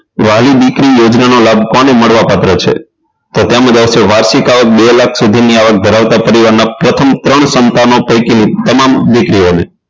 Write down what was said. વહાલી દીકરી યોજનાનો લાભ કોને મળવા પાત્ર છે તો તેમાં આવશે વાચિકાઓ બે લાખ સુધીની આવક ધરાવતા પરિવારના પ્રથમ ત્રણ સંતાનો પૈકી તમામ દીકરીઓને